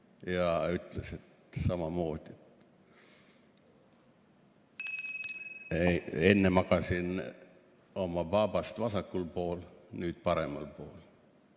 Ta ütles samamoodi, et enne magas ta oma baabast vasakul pool, nüüd magab paremal pool.